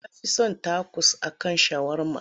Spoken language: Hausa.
Na fi son takos a kan shawarma.